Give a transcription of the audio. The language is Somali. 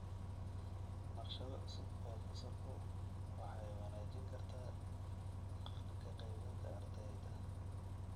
Naqshado cusub oo fasalku waxay wanaajin kartaa ka qaybgalka ardayda.